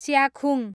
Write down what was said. Chyakhung